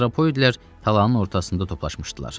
Antropoidlər talanın ortasında toplaşmışdılar.